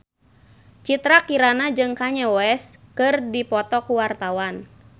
Citra Kirana jeung Kanye West keur dipoto ku wartawan